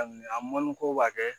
A mɔnni ko b'a kɛ